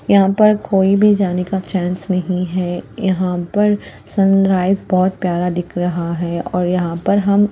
यहाँ पर कोई भी जाने का चांस नहीं है यहाँ पर सनराइज बहुत प्यारा दिख रहा है और यहाँ पर हम--